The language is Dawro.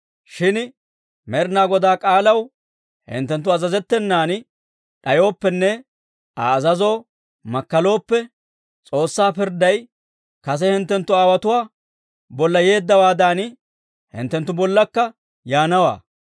Shin Med'inaa Godaa k'aalaw hinttenttu azazettenan d'ayooppenne Aa azazoo makkalooppe, S'oossaa pirdday kase hinttenttu aawotuwaa bolla yeeddawaadan, hinttenttu bollakka yaanawaa.